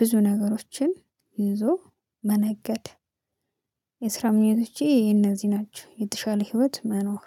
ብዙ ነገሮችን እንዞ መነገድ። የስራ ምኞቶቼ የነዚህ ናቸው። የተሻለ ህይወት መኖር